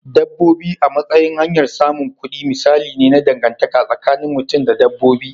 Dabbobi a matsayin hanyar samun kudi misali ne na dangantaka tsakinin mutum da dabbobi.